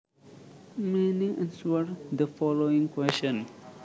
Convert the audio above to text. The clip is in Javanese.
meaning Answer the following question